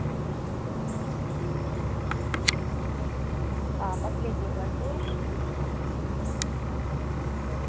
а последний платёж кредитом